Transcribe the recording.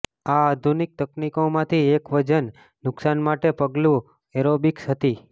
આ આધુનિક તકનીકોમાંથી એક વજન નુકશાન માટે પગલું એરોબિક્સ હતી